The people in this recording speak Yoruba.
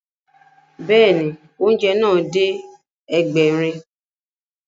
Bẹ́ẹ̀ni, oúnjẹ náà dé Ẹgbẹ̀rin